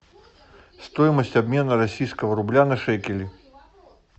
стоимость обмена российского рубля на шекели